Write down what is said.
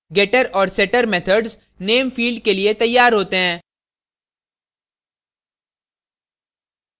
getter और setter methods name field के लिए तैयार होते हैं